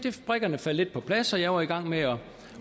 at brikkerne faldt lidt på plads og jeg var i gang med